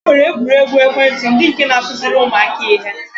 E nwere egwuruegwu ekwentị ndị nke na-akụziri ụmụaka ihe